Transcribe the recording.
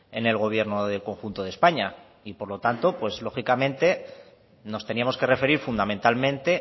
en el gobierno del conjunto de españa y por lo tanto pues lógicamente nos teníamos que referir fundamentalmente